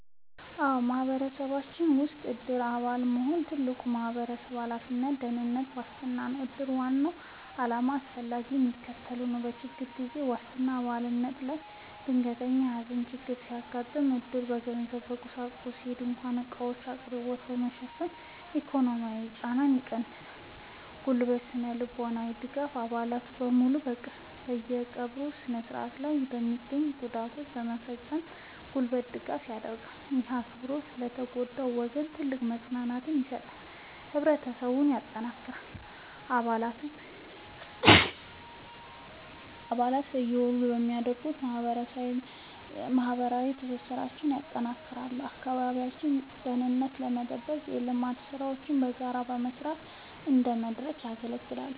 አዎ፣ በማህበረሰባችን ውስጥ የዕድር አባል መሆን ትልቅ ማህበራዊ ኃላፊነትና የደህንነት ዋስትና ነው። የዕድር ዋና ዓላማና አስፈላጊነት የሚከተለው ነው፦ የችግር ጊዜ ዋስትና፦ በአባል ላይ ድንገተኛ የሐዘን ችግር ሲያጋጥም፣ ዕድር የገንዘብና የቁሳቁስ (ድንኳንና ዕቃዎች) አቅርቦትን በመሸፈን የኢኮኖሚ ጫናን ይቀንሳል። የጉልበትና ስነ-ልቦናዊ ድጋፍ፦ አባላት በሙሉ በቀብሩ ሥነ ሥርዓት ላይ በመገኘትና ጉዳዮችን በማስፈጸም የጉልበት ድጋፍ ያደርጋሉ። ይህ አብሮነት ለተጎዳው ወገን ትልቅ መጽናናትን ይሰጣል። ህብረትን ማጠናከር፦ አባላት በየወሩ በሚያደርጉት ስብሰባ ማህበራዊ ትስስራቸውን ያጠናክራሉ፤ የአካባቢውን ደህንነት ለመጠበቅና የልማት ሥራዎችን በጋራ ለመስራት እንደ መድረክ ያገለግላል።